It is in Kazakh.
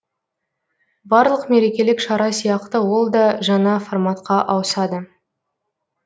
барлық мерекелік шара сияқты ол да жаңа форматқа ауысады